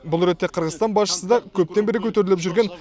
бұл ретте қырғызстан басшысы да көптен бері көтеріліп жүрген